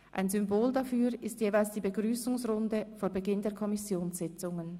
Ein Symbol dafür ist jeweils die Begrüssungsrunde vor Beginn der Kommissionssitzungen.